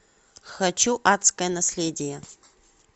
хочу адское наследие